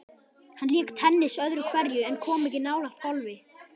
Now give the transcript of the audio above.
Hann lék tennis öðru hverju en kom ekki nálægt golfi.